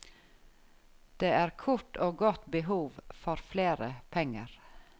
Det er kort og godt behov for flere penger.